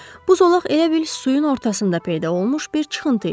Bu zolaq elə bil suyun ortasında peyda olmuş bir çıxıntı idi.